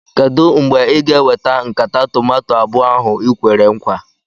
Kedụ mgbe ị ga-eweta nkata tomato abụọ ahụ i kwere nkwa?